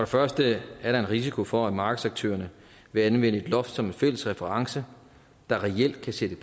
første er der en risiko for at markedsaktørerne vil anvende et loft som en fælles reference der reelt kan sætte